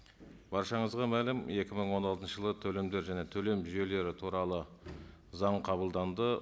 баршаңызға мәлім екі мың он алтыншы жылы төлемдер және төлем жүйелері туралы заң қабылданды